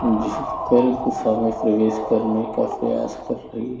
झुक कर गुफा में प्रवेश करने का प्रयास कर रही है।